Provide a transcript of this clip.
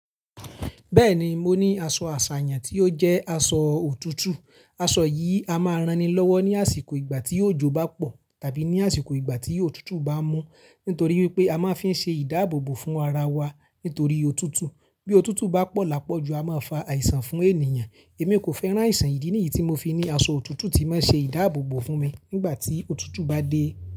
Bẹ́ẹ̀ni, mo ní aṣọ àṣàyàn tí ó jẹ́ aṣọ òtútù. Aṣọ yìí a máa rán ni lọ́wọ́ ní àsìkò ìgbà tí òjò bá pọ̀ tàbí ní àsìkò ìgbà tí òtútù bá mú. Nítorí wípé a máa ń fi ṣe ìdáàbòbò fún ara wa nítorí òtútù. Bí òtútù bá pọ̀ lápọ́ ju, a máa fa àìsàn fún ènìyàn. Èmi kò fẹ́ rán àìsàn ìdí nìyí tí mo fi ni aṣọ òtútù tí máa ń ṣe ìdáàbòbò fún mi nígbà tí òtútù bá dé.